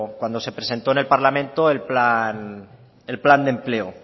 cuando se presentó en el parlamento el plan de empleo